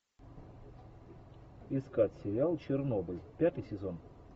искать сериал чернобыль пятый сезон